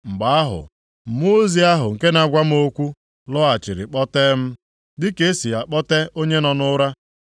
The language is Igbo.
Mgbe ahụ, mmụọ ozi ahụ nke na-agwa m okwu lọghachiri kpọtee m, dịka e si akpọte onye nọ nʼụra.